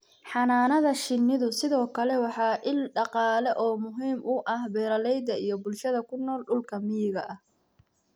Xannaanada shinnidu sidoo kale waa il dhaqaale oo muhiim u ah beeralayda iyo bulshada ku nool dhulka miyiga ah.